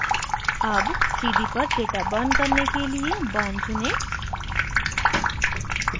अब cd पर data burn करने के लिए burn चुनें